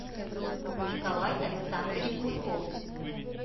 николай александрович мульков